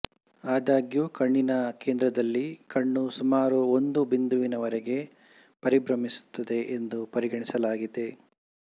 ಆದಾಗ್ಯು ಕಣ್ಣಿನ ಕೇಂದ್ರದಲ್ಲಿ ಕಣ್ಣು ಸುಮಾರು ಒಂದು ಬಿಂದುವಿನವರೆಗೆ ಪರಿಭ್ರಮಿಸುತ್ತದೆ ಎಂದು ಪರಿಗಣಿಸಲಾಗಿದೆ